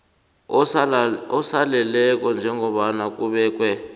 osaleleko njengombana kubekwe